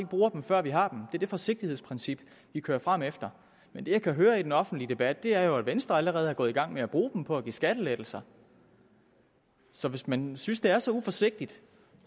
bruger dem før vi har dem er det forsigtighedsprincip vi kører frem efter men det jeg kan høre i den offentlige debat er jo at venstre allerede er gået i gang med at bruge dem på at give skattelettelser så hvis man synes det er så uforsigtigt